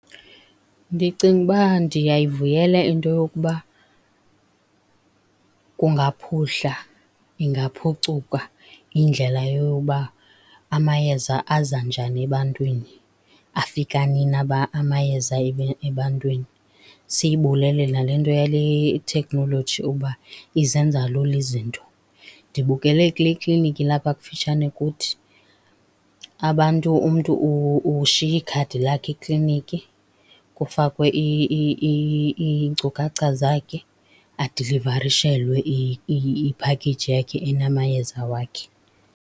Ndicinga ukuba ndiyayivuyela into yokuba kungaphuhla, ingaphucuka indlela yokuba amayeza aza njani ebantwini, afika nini amayeza ebantwini. Siyibulele nale nto yale thekhnoloji ukuba izenza lula izinto. Ndibukele kule kliniki ilapha kufitshane kuthi, abantu, umntu ushiya ikhadi lakhe ekliniki, kufakwe iinkcukacha zakhe, adilivarishelwe iphakeyiji yakhe enamayeza wakhe.